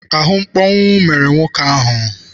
Ahụmkpọnwụ mere nwoke ahụ.